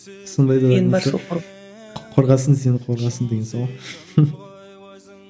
қорғасын сені қорғасын деген сол ғой